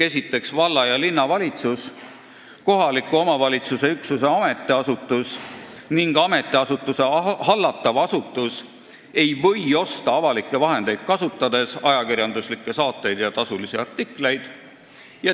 Esiteks: "Valla- ja linnavalitsus, kohaliku omavalitsuse üksuse ametiasutus ning ametiasutuse hallatav asutus ei või osta avalikke vahendeid kasutades ajakirjanduslikke saateid ja tasulisi artikleid.